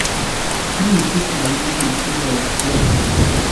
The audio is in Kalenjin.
Kiityi kayuumaniik tiloosyeek alaak